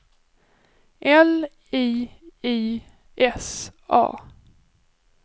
L I I S A